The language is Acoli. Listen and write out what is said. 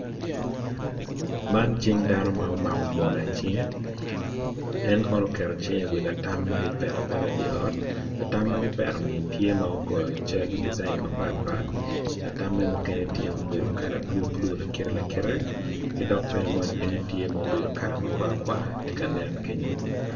Man cing dano ma omako mola i cinge en kono oketo cinge i latam magipeto apeta i di ot latam magipetoni tye ma giyo cal disain mapat pat latamme mukene tye ma obedo kala blue blue lakite kidok bene moni kenyo tye mobedo kala makwar kwar tye kanen kenyo.